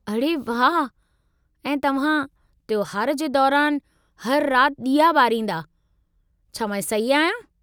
अड़े वाह। ऐं तव्हां त्योहार जे दौरानि हर राति ॾीया ॿारींदा, छा मां सही आहियां?